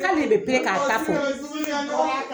K'ale de bɛ k'a ta fɔ.